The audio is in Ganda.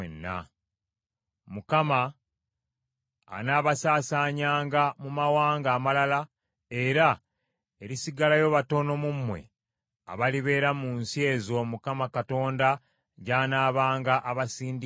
Mukama anaabasaasaanyanga mu mawanga amalala, era erisigalayo batono mu mmwe abalibeera mu nsi ezo Mukama Katonda gy’anaabanga abasindiikirizza.